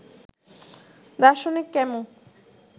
দার্শনিক ক্যামু